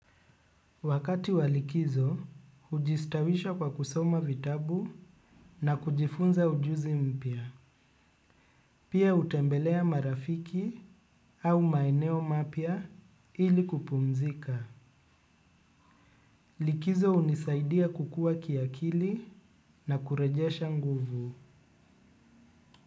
Wakati wa likizo, hujistawisha kwa kusoma vitabu na kujifunza ujuzi mpya. Pia hutembelea marafiki au maeneo mapya ili kupumzika. Likizo hunisaidia kukua kiakili na kurejesha nguvu.